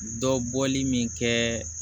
Dɔ bɔli min kɛ